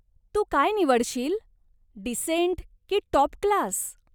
तू काय निवडशील, डिसेंट की टाॅप क्लास?